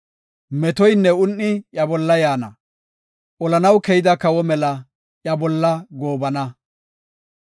Metoynne un7i iya bolla yaana; olanaw keyida kawo mela iya bolla goobana.